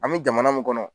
An bɛ jamana mun kɔnɔ